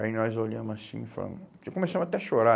Aí nós olhamos assim e falamos... Começamos até a chorar.